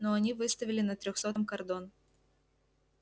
ну они выставили на трёхсотом кордон